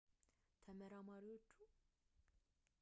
ከቦቤክ በላይ ብዙ ጨዋታዎችን ያሳየ ወይም ለክለቡ ብዙ ግቦችን ያስቆጠረ የለም